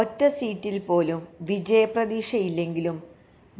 ഒറ്റസീറ്റില് പോലും വിജയപ്രതീക്ഷയില്ലെങ്കിലും